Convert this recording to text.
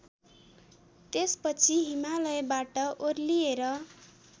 त्यसपछि हिमालयबाट ओर्लिएर